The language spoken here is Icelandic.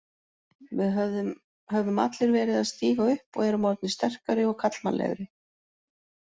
Við höfum allir verið að stíga upp og erum orðnir sterkari og karlmannlegri.